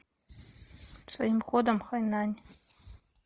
своим ходом в хайнань